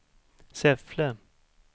Säffle